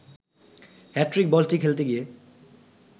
hat trick বলটি খেলতে গিয়ে